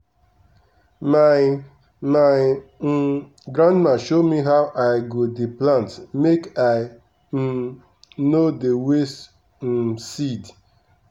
my my um grandma show me how i go dey plant make i um no dey waste um seed.